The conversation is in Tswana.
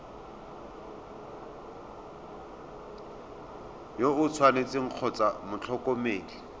yo o tshwanetseng kgotsa motlhokomedi